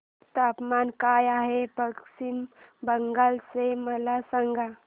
तापमान काय आहे पश्चिम बंगाल चे मला सांगा